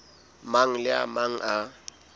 mang le a mang a